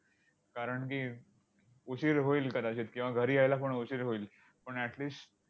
कारण की, उशीर होईल कदाचित किंवा घरी यायला पण उशीर होईल. पण at least